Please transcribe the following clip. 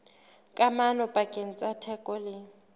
kamano pakeng tsa theko le